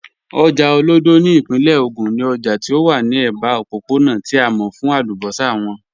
Ojá Olódo ni ipinle Ogun ni òjá tí ó wà ni ẹba ọ̀pọ̀pọ̀na tí a mọ̀ fún àlúbọ́ṣà wọn.